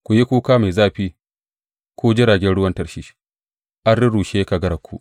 Ku yi kuka mai zafi, ku jiragen ruwan Tarshish; an rurrushe kagararku!